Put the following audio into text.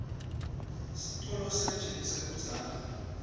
sitolo sejet sakudzala